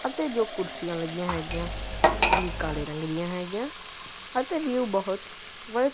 ਅਤੇ ਦੋ ਕੁਰਸੀਆਂ ਲੱਗੀਆਂ ਹੈਗਿਆਂ ਓਹ ਵੀ ਕਾਲੇ ਰੰਗ ਦਿਆਂ ਹੈਂਗੀਆਂ ਅਤੇ ਵਿਊ ਬਹੁਤ ਵ--